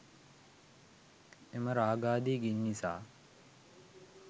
එම රාගාදි ගිනි නිසා